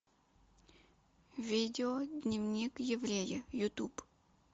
видео дневник еврея ютуб